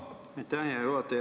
Aitäh, hea juhataja!